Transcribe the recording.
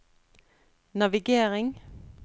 navigering